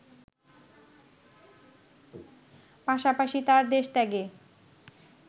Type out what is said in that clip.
পাশাপাশি তার দেশত্যাগে